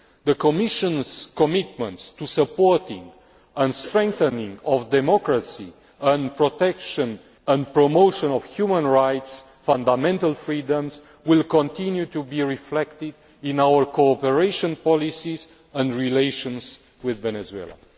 The Commission's commitment to supporting and strengthening democracy and the protection and promotion of human rights and fundamental freedoms will continue to be reflected in our cooperation policies and relations with Venezuela.